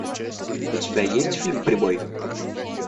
у тебя есть фильм прибой